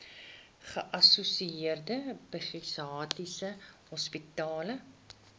geassosieerde psigiatriese hospitale